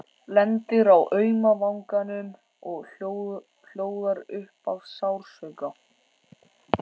Lendir á auma vanganum og hljóðar upp af sársauka.